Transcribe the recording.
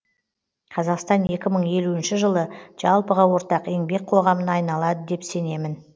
қазақстан екі мың елуінші жылы жалпыға ортақ еңбек қоғамына айналады деп сенемін